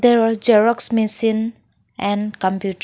there xerox machine and computer.